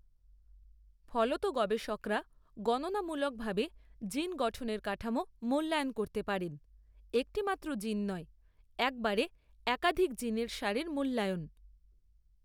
ফলত গবেষকরা গণনামূলকভাবে জিন গঠনের কাঠামো মূল্যায়ন করতে পারেন, একটিমাত্র জিন নয়, একবারে একাধিক জিনের সারির মূল্যায়ন।